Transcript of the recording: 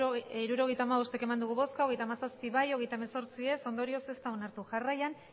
hirurogeita hamabost eman dugu bozka hogeita hamazazpi bai hogeita hemezortzi ez ondorioz ez da onartu jarraian